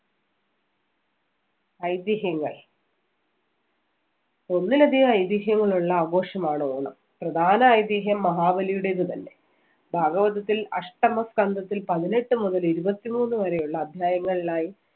ഐതിഹ്യങ്ങൾ ഒന്നിലധികം ഐതിഹ്യങ്ങളുള്ള ആഘോഷമാണ് ഓണം. പ്രധാന ഐതിഹ്യം മഹാബലിയുടേത് തന്നെ. ഭാഗവതത്തിൽ അഷ്ടമ സ്കന്തത്തില്‍ പതിനെട്ട് മുതൽ ഇരുപത്തിമൂന്ന് വരെയുള്ള അധ്യായങ്ങളിലായി